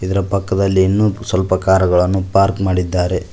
ಇದರ ಪಕ್ಕದಲ್ಲಿ ಇನ್ನೂ ಸ್ವಲ್ಪ ಕಾರುಗಳನ್ನು ಪಾರ್ಕ್ ಮಾಡಿದ್ದಾರೆ.